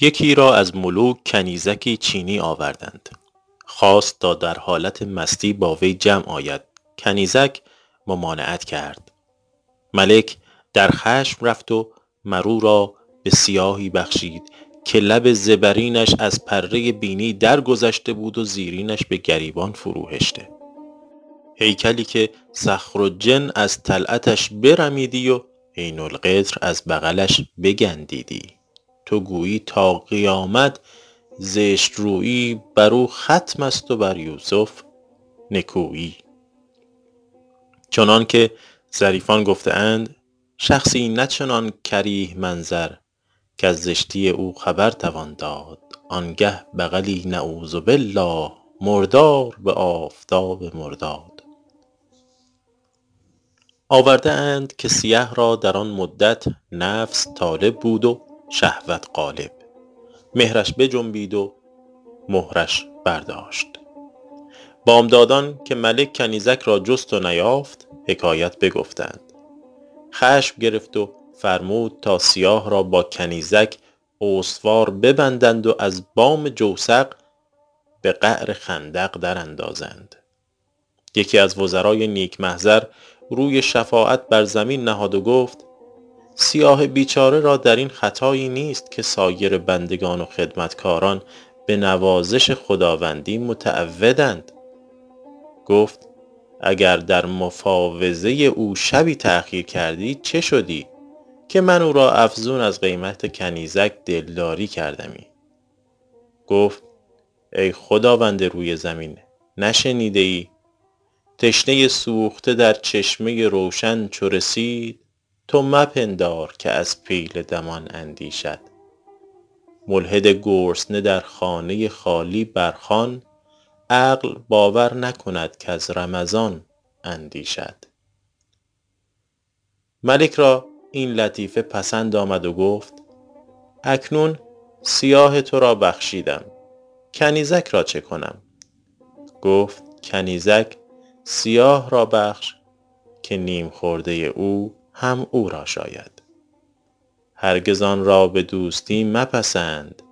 یکی را از ملوک کنیزکی چینی آوردند خواست تا در حالت مستی با وی جمع آید کنیزک ممانعت کرد ملک در خشم رفت و مر او را به سیاهی بخشید که لب زبرینش از پره بینی درگذشته بود و زیرینش به گریبان فرو هشته هیکلی که صخرالجن از طلعتش برمیدی و عین القطر از بغلش بگندیدی تو گویی تا قیامت زشت رویی بر او ختم است و بر یوسف نکویی چنان که ظریفان گفته اند شخصی نه چنان کریه منظر کز زشتی او خبر توان داد آن گه بغلی نعوذ باللٰه مردار به آفتاب مرداد آورده اند که سیه را در آن مدت نفس طالب بود و شهوت غالب مهرش بجنبید و مهرش برداشت بامدادان که ملک کنیزک را جست و نیافت حکایت بگفتند خشم گرفت و فرمود تا سیاه را با کنیزک استوار ببندند و از بام جوسق به قعر خندق در اندازند یکی از وزرای نیک محضر روی شفاعت بر زمین نهاد و گفت سیاه بیچاره را در این خطایی نیست که سایر بندگان و خدمتکاران به نوازش خداوندی متعودند گفت اگر در مفاوضه او شبی تأخیر کردی چه شدی که من او را افزون از قیمت کنیزک دلداری کردمی گفت ای خداوند روی زمین نشنیده ای تشنه سوخته در چشمه روشن چو رسید تو مپندار که از پیل دمان اندیشد ملحد گرسنه در خانه خالی بر خوان عقل باور نکند کز رمضان اندیشد ملک را این لطیفه پسند آمد و گفت اکنون سیاه تو را بخشیدم کنیزک را چه کنم گفت کنیزک سیاه را بخش که نیم خورده او هم او را شاید هرگز آن را به دوستی مپسند